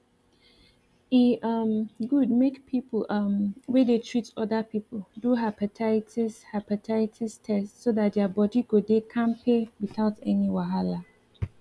e um good make people um wey dey treat other people do hepatitis hepatitis test so that their body go dey kampe without any wahala